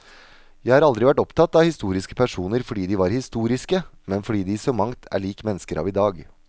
Jeg har aldri vært opptatt av historiske personer fordi de var historiske, men fordi de i så mangt er lik mennesker av i dag.